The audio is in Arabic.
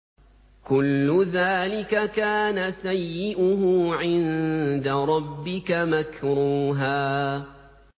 كُلُّ ذَٰلِكَ كَانَ سَيِّئُهُ عِندَ رَبِّكَ مَكْرُوهًا